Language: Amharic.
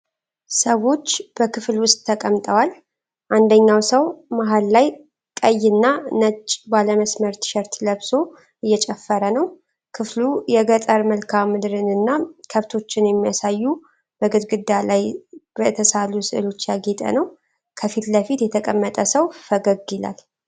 ሰዎች በክፍል ውስጥ ተቀምጠዋል፣ አንደኛው ሰው መሃል ላይ ቀይ እና ነጭ ባለ መስመር ቲሸርት ለብሶ እየጨፈረ ነው። ክፍሉ የገጠር መልክዓ ምድርንና ከብቶችን የሚያሳዩ በግድግዳ ላይ በተሳሉ ሥዕሎች ያጌጠ ነው። ከፊት ለፊት የተቀመጠ ሰው ፈገግ ይላል።